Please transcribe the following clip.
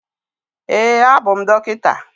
Ee, abụ m dọkịta.